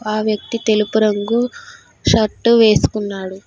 ఆ వ్యక్తి తెలుపు రంగు షర్టు వేసుకున్నాడు.